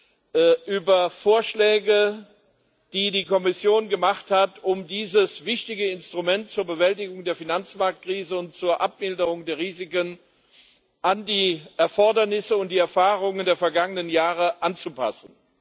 Verordnung, über Vorschläge, die die Kommission gemacht hat, um dieses wichtige Instrument zur Bewältigung der Finanzmarktkrise und zur Abmilderung der Risiken an die Erfordernisse und die Erfahrungen der vergangenen Jahre anzupassen.